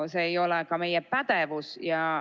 See ei ole ka meie pädevus.